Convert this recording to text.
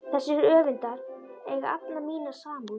Þessir höfundar eiga alla mína samúð.